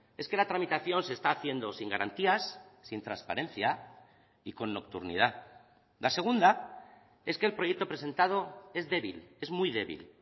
es que la tramitación se está haciendo sin garantías sin transparencia y con nocturnidad la segunda es que el proyecto presentado es débil es muy débil